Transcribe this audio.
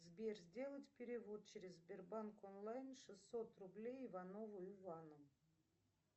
сбер сделать перевод через сбербанк онлайн шестьсот рублей иванову ивану